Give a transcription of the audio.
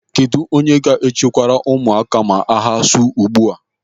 Kedụ onye ga-echekwara ụmụaka ma agha su ugbu a?